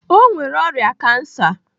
O nwere ọrịa kansa.